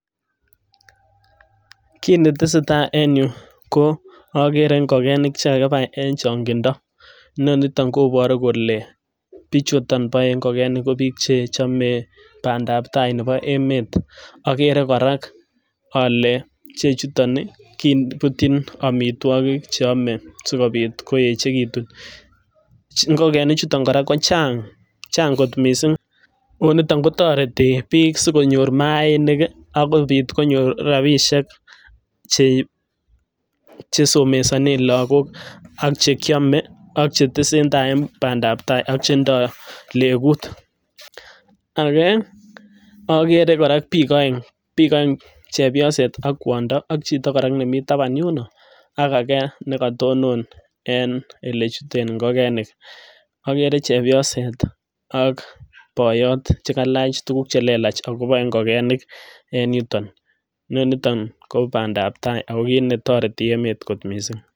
Kiit ne tesetai en yu ko ogere ngokenik che kakibai en chong'indo. Inoniton koboru kole bichuto boe ngokenik ko biik che chame bandap tai nebo emet. Agere kora ale ichechuton kebutyin amitwogik che ome asikobit koechegitun. Ngokenik chuton kora ko chang, chang' kot mising'. Niton kotoreti biik sikonyor maainik agobit konyor rabishek chesomesanen lagok, ak che kyame, ak che tesentai en bandap tai, ak che ndo legut. Age ogere kora biik oeng', chepyoset ak kwondo ak chito kora nemi taban yuno ak age nekatonon en ole chuten ngokenik. Ogere chepyoset ak boiyot che kalach tuguk che lelach ago boe ngokenik en yuton. Inoniton kobandap tai ago kit ne toreti emet kot mising'.